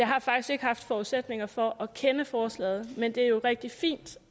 har faktisk ikke haft forudsætninger for at kende forslaget men det er jo rigtig fint